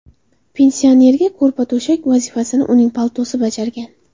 Pensionerga ko‘rpa-to‘shak vazifasini uning paltosi bajargan.